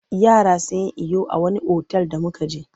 Yara sun yi iyo a wani otal da muka je.